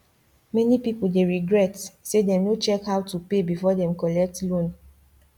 many people dey regret say dem no check how to pay before dem collect loan